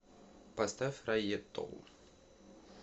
поставь райетто